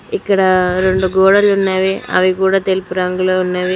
ఇక్కడ రెండు గోడలు ఉన్నవి అవి కూడా తెలుపు రంగులో ఉన్నవి.